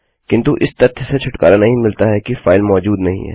किन्तु इस तथ्य से छुटकारा नहीं मिलता कि फाइल मौजूद नहीं है